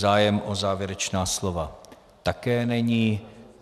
Zájem o závěrečná slova také není.